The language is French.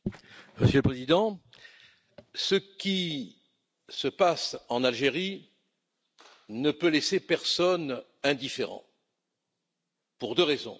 Monsieur le Président, ce qui se passe en Algérie ne peut laisser personne indifférent pour deux raisons.